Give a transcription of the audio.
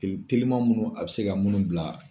Teli teliman munnu a bɛ se ka munnu bila.